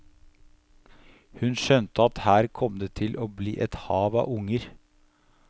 Hun skjønte at her kom det til å bli et hav av unger.